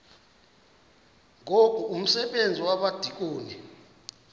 ngoku umsebenzi wabadikoni